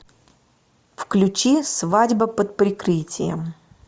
включи свадьба под прикрытием